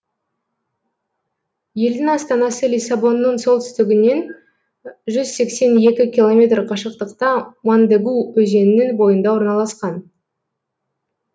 елдің астанасы лиссабонның солтүстігінен жүз сексен екі километр қашықтықта мондегу өзенінің бойында орналасқан